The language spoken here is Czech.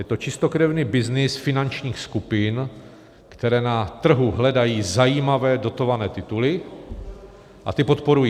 Je to čistokrevný byznys finančních skupin, které na trhu hledají zajímavé dotované tituly a ty podporují.